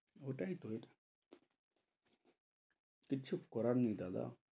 ওটাই তো, কিছু করার নেই দাদা,